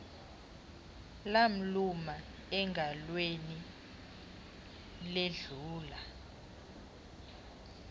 lamluma engalweni ledlula